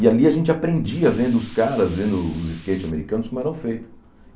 E ali a gente aprendia vendo os caras, vendo os skates americanos, como eram feitos.